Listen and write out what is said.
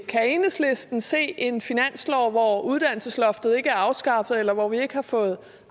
kan enhedslisten se en finanslov hvor uddannelsesloftet ikke er afskaffet eller hvor vi ikke har fået